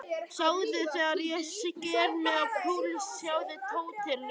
Sjáðu þegar ég sker mig á púls, sjáðu, Tóti ljóti.